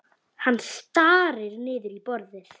Hann starir niður í borðið.